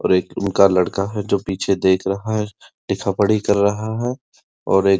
और एक उनका लड़का है जो पीछे देख रहा है लिखा पढ़ी कर रहा है और एक --